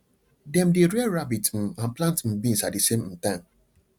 dem dey rear rabbit um and plant um beans at the same um time